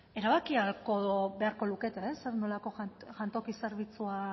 erabaki ahalko beharko lukete zer nolako jantoki zerbitzua